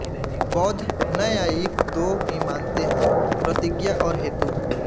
बौद्ध नैयायिक दो ही मानते हैं प्रतिज्ञा और हेतु